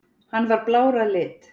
Hann var blár að lit.